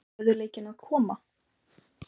Stöðugleikinn að koma?